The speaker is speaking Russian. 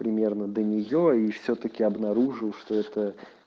примерно до нее и всё-таки обнаружил что это